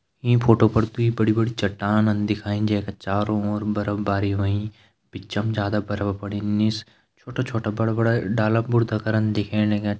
ईं फोटो पर दुई बड़ी बड़ी चट्टान दिखाईं जै का चारों ओर बरफ बारी होईं बिचम ज्यादा बरफ पड़ीं निस छोटा छोटा बड़ा बड़ा डाला भुर्ता करन दिखेण लग्यां।